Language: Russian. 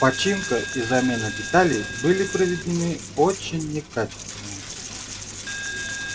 починка и замена деталей были проведены очень некачественно